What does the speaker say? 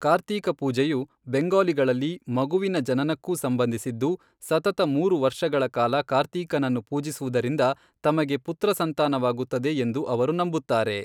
ಕಾರ್ತೀಕ ಪೂಜೆಯು ಬೆಂಗಾಲಿಗಳಲ್ಲಿ ಮಗುವಿನ ಜನನಕ್ಕೂ ಸಂಬಂಧಿಸಿದ್ದು, ಸತತ ಮೂರು ವರ್ಷಗಳ ಕಾಲ ಕಾರ್ತೀಕನನ್ನು ಪೂಜಿಸುವುದರಿಂದ ತಮಗೆ ಪುತ್ರಸಂತಾನವಾಗುತ್ತದೆ ಎಂದು ಅವರು ನಂಬುತ್ತಾರೆ.